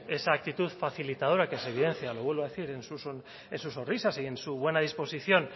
esa actitud facilitadora que se evidencia lo vuelvo a decir en sus sonrisas y en su buena disposición